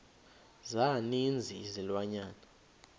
za ninzi izilwanyana